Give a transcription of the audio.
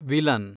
villain